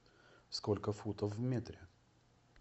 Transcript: сколько футов в метре